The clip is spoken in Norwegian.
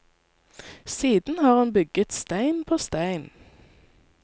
Siden har hun bygget stein på stein.